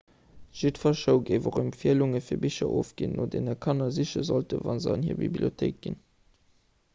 jiddwer show géif och empfielunge fir bicher ofginn no deene kanner siche sollten wa se an hir bibliothéik ginn